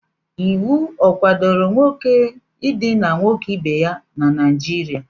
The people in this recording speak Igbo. Iwu ọ kwadoro nwoke idina nwoke ibe ya na Naịjirịa?